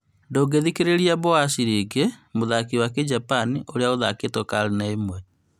Ndũngithikĩria Botoashi rĩngĩ, mũthako wa kĩjapan ũrĩa ũthakĩtwo karine ĩmwe